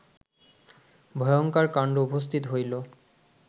ভয়ঙ্কর কাণ্ড উপস্থিত হইল